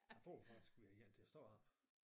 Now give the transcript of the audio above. Jeg tror faktisk vi har en til at stå heroppe